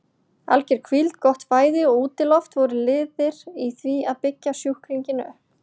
Alger hvíld, gott fæði og útiloft voru liðir í því að byggja sjúklinginn upp.